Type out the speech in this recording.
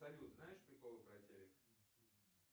салют знаешь приколы про телик